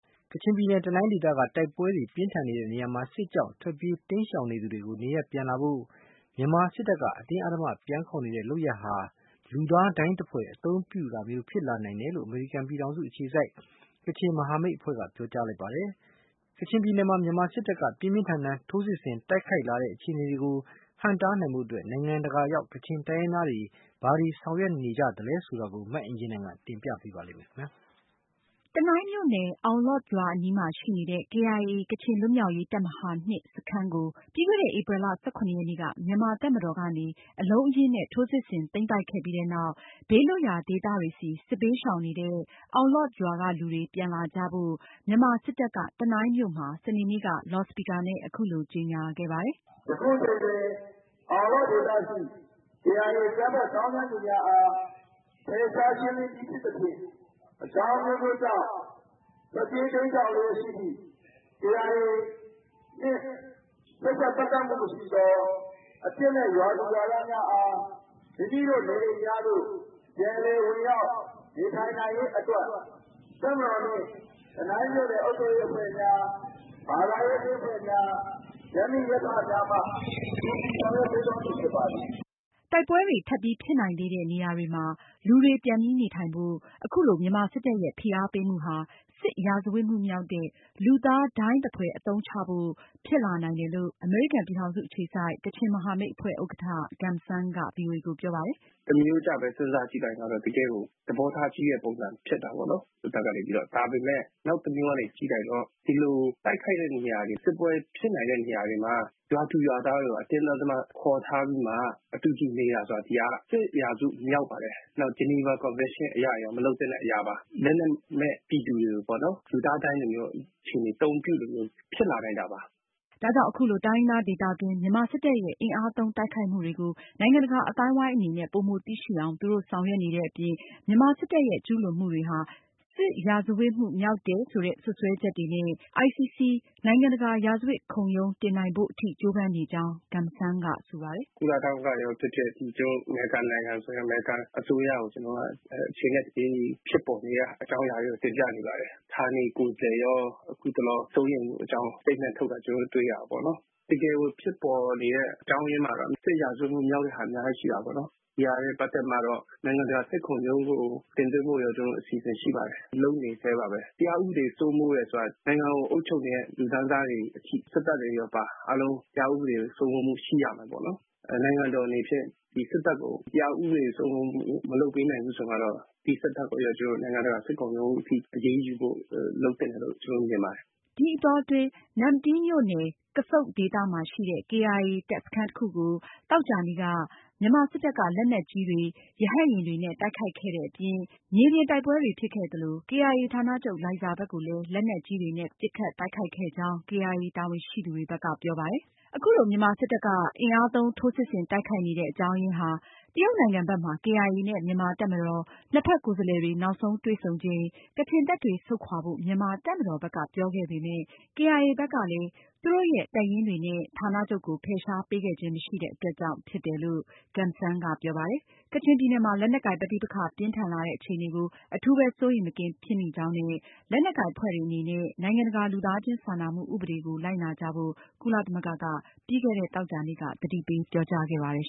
ကချင်ပြည်နယ် တနိုင်းဒေသက တိုက်ပွဲတွေပြင်းထန်နေတဲ့နေရာမှာ စစ်ကြောင့်ထွက်ပြေးတိမ်းရှောင်နေသူတွေကို နေရပ်ပြန်လာဖို့ မြန်မာစစ်တပ်က အတင်းအဓမ္မ ပြန်ခေါ်တဲ့ လုပ်ရပ်ဟာ လူသားဒိုင်းသဖွယ်အသုံးပြုတာမျိုးဖြစ်လာနိုင်တဲ့အတွက် စိုးရိမ်မိကြောင်းအမေရိကန်ပြည်ထောင်စု အခြေစိုက် ကချင်မဟာမိတ်အဖွဲ့က ပြောကြားလိုက်ပါတယ်။ ကချင်ပြည်နယ်မှာ မြန်မာစစ်တပ်က ပြင်းပြင်းထန်ထန် ထိုးစစ်ဆင် တိုက်ခိုက်လာတဲ့အခြေအနေတွေကို ဟန့်တားနိုင်ဖို့ နိုင်ငံတကာရောက် ကချင်တိုင်းရင်းသားတွေ ဘာတွေဆောင်ရွက်နေကြသလဲဆိုတာကိုမအင်ကြင်းနိုင်က တင်ပြမှာပါ။ တနိုင်းမြို့နယ် အောင်လော့ဒ်ရွာအနီးမှာ ရှိနေတဲ့ KIA ကချင်လွတ်မြောက်ရေးတပ်မဟာ စခန်းကို ပြီးခဲ့တဲ့ ဧပြီလ ၁၇ ရက်နေ့က မြန်မာတပ်မတော်ကနေ အလုံးအရင်းနဲ့ ထိုးစစ်ဆင်သိမ်းပိုက်ခဲ့ပြီးနောက် ဘေးလွတ်ရာဒေသတွေဘက် စစ်ဘေးရှောင်နေတဲ့ အောင်လော့ဒ်ရွာကလူ တွေ ပြန်လာကြဖို့ မြန်မာစစ်တပ်က တနိုင်းမြို့မှာ စနေနေ့က လော်စပီကာနဲ့ အခုလို ကြေညာခဲ့ပါတယ်။ “ယခုအချိန်တွင် အောင်လော့ဒ် ဒေသရှိ KIA အကြမ်းဖက်သောင်းကျန်သူများအား ဖယ်ရှား ရှင်းလင်းပြီး ဖြစ်သဖြင့် အကြောင်းအမျိုးမျိုးကြောင့် ထွက်ပြေးတိမ်းရှောင်လျှက်ရှိသည့် KIA နှင့် ဆက်စပ် ပတ်သက်မှုမရှိသော အပြစ်မဲ့ ရွာသူရွာသားများအား မိမိတို့ နေအိမ်များသို့ ပြန်လည်ဝင်ရောက် နေထိုင်နိုင်ရေးအတွက် တပ်မတော်နှင့် တနိုင်းမြို့နယ်အုပ်ချုပ်ရေးအဖွဲ့များ၊ ဘာသာရေးအသင်းအဖွဲ့များ၊ ရပ်မိရပ်ဖများမှ ကူညီဆောင်ရွက်ပေးသွားမည် ဖြစ်ပါသည်။” တိုက်ပွဲတွေ ထပ်ပြီးဖြစ်နိုင်သေးတဲ့နေရာတွေမှာ လူတွေပြန်ပြီးနေထိုင်ဖို့ အခုလို မြန်မာစစ်တပ်ရဲ့ ဖိအားပေးမှုဟာ စစ်ရာဇဝတ်မှုမြောက်တဲ့ လူသားဒိုင်းသဖွယ် အသုံးချဖို့ ဖြစ်လာနိုင်တယ်လို့ အမေရိကန်ပြည်ထောင်စု အခြေစိုက် ကချင်မဟာမိတ်အဖွဲ့ ဥက္ကဌ Gum Sang က ဗွီအိုအေကို ပြောပါတယ်။ “သမရိုးကျပဲ စဉ်းစားကြည့်လိုက်ရင် တကယ့်ကို သဘောထားကြီးတဲ့ ပုံစံဖြစ်တာပေါ့နော်… စစ်တပ်ကနေပြီးတော့။ ဒါပေမယ့် နောက်တမျိုးကနေ ကြည့်လိုက်တော့ ဒီလိုတိုက်ခိုက်တဲ့နေရာတွေ၊ စစ်ပွဲဖြစ်နိုင်တဲ့ နေရာတွေမှာ ရွာသူရွာသားတွေ အတင်းအဓမ္မခေါ်ထားပြီး မှ အတူတူနေတယ်ဆိုတာ စစ်ရာဇဝတ်မှုမြောက်ပါတယ်။ ဂျီနီဗာ ကွန်ဗန်ရှင်းအရရော မလုပ်သင့်တဲ့အရာပါ။ လက်နက်မဲ့ပြည်သူတွေကို လူသားဒိုင်းသဖွယ် အသုံးပြုသလိုမျိုး ဖြစ်လာနိုင်တာပါ။” ဒါကြောင့် အခုလို တိုင်းရင်းသားဒေသတွင်း မြန်မာစစ်တပ်ရဲ့ အင်အားသုံးတိုက်ခိုက်မှုတွေကို နိုင်ငံတကာအသိုင်းအဝိုင်းအနေနဲ့ ပိုမိုသိရှိအောင် သူတို့ ဆောင်ရွက်နေတဲ့အပြင် မြန်မာစစ်တပ်ရဲ့ ကျူးလွန်မှုတွေဟာ စစ်ရာဇဝတ်မှုမြောက်တယ်ဆိုတဲ့ စွပ်စွဲချက်တွေနဲ့ICC နိုင်ငံတကာရာဇဝတ်ခုံရုံးတင်နိုင်ဖို့အထိ ကြိုးပမ်းနေကြောင်း Gum Sang ကဆိုပါတယ်။ “ကုလသမဂ္ဂကိုရော၊ အမေရိကန်အစိုးရကိုရော အချိန်နဲ့ တပြေးညီ ဖြစ်ပေါ်နေတဲ့အကြောင်းအရာတွေကို တင်ပြနေပါတယ်။ ဌာနေကိုယ်စားလှယ်လည်း အထူးစိုးရိမ်ကြောင်း ကြေညာချက်ထုတ်တာ ကျနော်တို့ တွေ့ရပါတယ်။ တကယ်ဖြစ်ပေါ်နေတဲ့ အကြောင်းအရင်းထဲမှာ စစ်ရာဇဝတ်မှုမြောက်တဲ့ဟာ အများကြီးရှိပါတယ်။ ဒါနဲ့ ပတ်သက်လို့ နိုင်ငံတကာစစ်ခုံရုံးကို တင်သွင်းဖို့ ကျနော်တို့ အစီအစဉ်ရှိပါတယ်။ လုပ်နေဆဲပါ။ တရားဥပဒေစိုးမိုးတယ်ဆိုတာ နိုင်ငံကိုအုပ်ချုပ်နေတဲ့လူတန်းစားတွေအထိ၊ စစ်တပ်ပါအပါအဝင် တရားဥပဒေစိုးမိုးမှုရှိရမှာဖြစ်ပါတယ်။ နိုင်ငံတော်အနေနဲ့ စစ်တပ်ကို တရားဥပဒေစိုးမိုးမှု မလုပ်ပေးနိုင်ဘူးဆိုမှတော့ ဒီစစ်တပ်ကို ကျနော်တို့ နိုင်ငံတကာစစ်ခုံရုံးအထိ အရေးယူဖို့ လုပ်သင့်တယ်လို့ ကျနော်တို့ မြင်ပါတယ်။” ဒီအတောအတွင်း နမ္မတီးမြို့နယ် ကဆုန့်ဒေသမှာရှိတဲ့KIA တပ်စခန်းတခုကို သောကြာနေ့က မြန်မာစစ်တပ်က လက်နက်ကြီးတွေ၊ ရဟတ်ယာဉ်တွေနဲ့ တိုက်ခိုက်ခဲ့တဲ့အပြင် မြေပြင်တိုက်ပွဲတွေဖြစ်ခဲ့သလို KIA ဌာနချုပ် လိုင်ဇာဘက်ကိုလည်း လက်နက်ကြီးတွေနဲ့ ပစ်ခတ်တိုက်ခိုက်ခဲ့ကြောင်း KIA တာဝန်ရှိသူတွေဘက်က ပြောပါတယ်။ အခုလို မြန်မာစစ်တပ်က အင်အားသုံး ထိုးစစ်ဆင်တိုက်ခိုက်နေတဲ့အကြောင်းအရင်းဟာ တရုတ်နိုင်ငံဘက်မှာ KIA နဲ့ မြန်မာတပ်မတော် နှစ်ဘက်ကိုယ်စားလှယ်တွေ နောက်ဆုံးတွေ့ဆုံချိန် ကချင်တပ်တွေ ဆုပ်ခွာဖို့ မြန်မာတပ်မတော်ဘက်က ပြောခဲ့ပေမယ့် KIA ဘက်ကလည်း သူတို့ရဲ့ တပ်ရင်းတွေနဲ့ ဌာနချုပ်ကို ဖယ်ရှားပေးခဲ့ခြင်းမရှိတဲ့အတွက်ကြောင့် ဖြစ်တယ်လို့ Gum Sang ကပြောပါတယ်။ ကချင်ပြည်နယ်မှာ လက်နက်ကိုင်ပဋိပက္ခ ပြင်းထန်လာတဲ့အခြေအနေကို အထူးပဲ စိုးရိမ်မကင်းဖြစ်မိကြောင်းနဲ့ လက်နက်ကိုင်အဖွဲ့တွေအနေနဲ့ နိုင်ငံတကာ လူသားချင်းစာနာမှု ဥပဒေကို လိုက်နာကြဖို့ ကုလသမဂ္ဂကပြီးခဲ့တဲ့ သောကြာနေ့က သတိပေး ပြောကြားခဲ့ပါတယ်